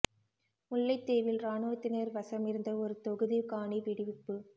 முல்லைத்தீவில் இராணுவத்தினர் வசமிருந்த ஒருதொகுதி காணி விடிவிப்பு